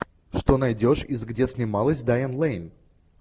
что найдешь из где снималась дайан лейн